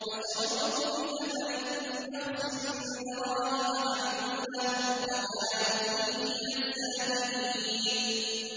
وَشَرَوْهُ بِثَمَنٍ بَخْسٍ دَرَاهِمَ مَعْدُودَةٍ وَكَانُوا فِيهِ مِنَ الزَّاهِدِينَ